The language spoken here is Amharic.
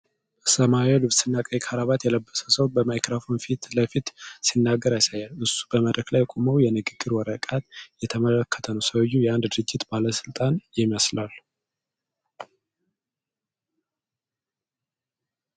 በሰማያዊ ልብስ እና ቀይ ክራባት የለበሰ ሰው ማይክሮፎን ፊት ለፊት ሲናገር ያሳያል። እሱ በመድረክ ላይ ቆሞ የንግግር ወረቀት እየተመለከተ ነው። ሰውዬው የአንድ ድርጅት ባለሥልጣን ይመስላል?